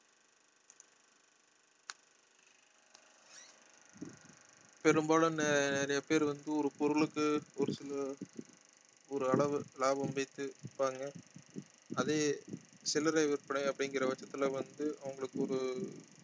பெரும்பாலும் நிறைய பேர் வந்து ஒரு பொருளுக்கு ஒரு சில ஒரளவு லாபம் வைத்து விற்பாங்க அதே சில்லறை விற்பனை அப்படிங்கிற பட்சத்துல வந்து அவங்களுக்கு ஒரு